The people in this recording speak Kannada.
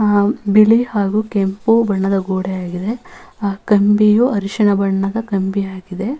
ಆಹ್ಹ್ ಬಿಳಿ ಹಾಗು ಕೆಂಪು ಬಣ್ಣದ ಗೋಡೆ ಆಗಿದೆ ಕಂಬಿಯು ಅರಶಿನ ಬಣ್ಣದ ಕಂಬಿಯಾಗಿದೆ.